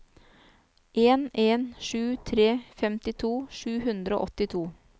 en en sju tre femtito sju hundre og åttito